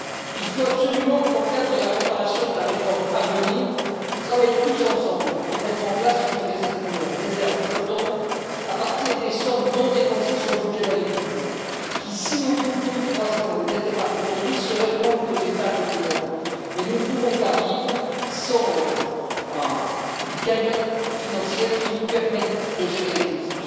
Il faut absolument que, dans le cadre de la préparation de la réforme à venir, nous travaillions tous ensemble pour mettre en place une réserve flottante à partir des sommes non dépensées sur le budget de l'agriculture, qui, si au bout de deux ou trois ans, n'était pas consommée, serait rendue aux États, comme aujourd'hui. Mais nous ne pouvons pas vivre sans une cagnotte financière qui nous permette de gérer les crises.